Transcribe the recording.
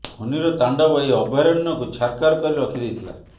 ଫୋନିର଼ ତାଣ୍ଡବ ଏହି ଅଭୟାରଣ୍ୟକୁ ଛାରଖାର କରି ରଖି ଦେଇଥିଲା